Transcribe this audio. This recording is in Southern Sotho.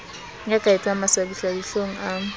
ya ka etsang mahlabisadihlong a